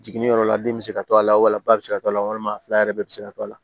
Jiginniyɔrɔ la den bɛ se ka to a la wala ba bɛ se ka to a la walima fila yɛrɛ bɛ se ka to a la